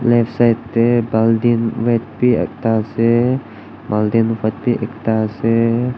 left side tae bultin red bi ekta ase baltin white bi ekta ase.